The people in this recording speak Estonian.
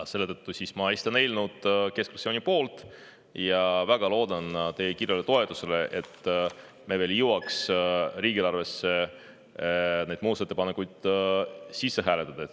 Selle tõttu ma esitan keskfraktsiooni poolt eelnõu ja väga loodan teie kiirele toetusele, et me veel jõuaks riigieelarvesse need muudatusettepanekud sisse hääletada.